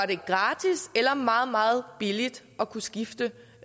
det gratis eller meget meget billigt at kunne skifte